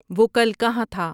وہ کل کہاں تھا